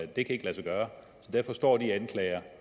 det kan ikke lade sig gøre så derfor står de anklager